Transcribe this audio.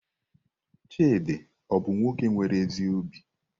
Chidi ọ bu nwoke nwere ezi obi?